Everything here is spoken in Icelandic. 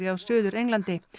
á Suður Englandi